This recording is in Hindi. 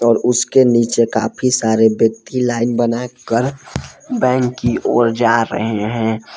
और उसके नीचे काफी सारे व्यक्ति लाइन बना कर बैंक की ओर जा रहे हैं।